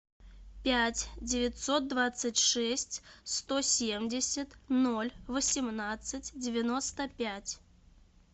пять девятьсот двадцать шесть сто семьдесят ноль восемнадцать девяносто пять